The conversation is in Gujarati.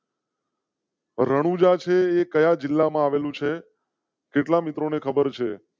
રણુજા સે કયા જિલ્લામાં આવેલું છે? કેટલા મિત્રો ને ખબર છે?